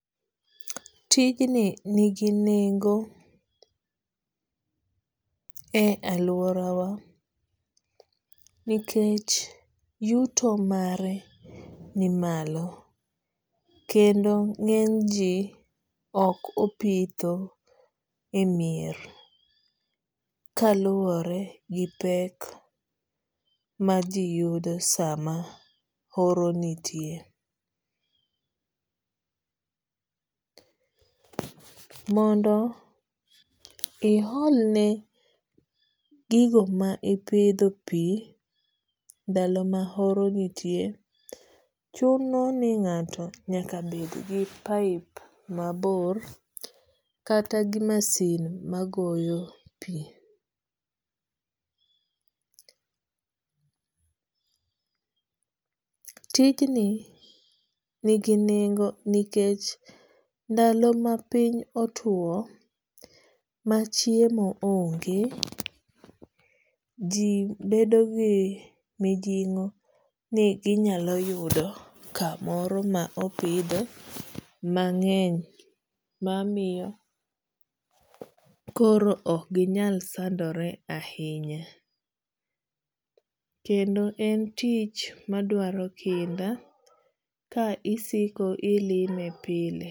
Tijni nigi nengo e aluora wa nikech yuto mare nimalo. Kendo ng'eny ji ok opitho e mier kaluwore gi pek ma ji yudo sama oro nitie. Mondo i ol ne gigo ma ipidho pi ndalo ma horo nitie, chuno ni ng'ato nyaka bed gi pipe mabor kata gi masin magoyo pi. Tijni nigi nengo nikech ndalo ma piny otuo ma chiemo onge, ji bedo gi mijing'o ni inyalo yudo kamoro ma opidho mang'eny mamiyo koro ok ginyal sandore ahinya. Kendo en tich madwaro kinda ka isiko ilime pile.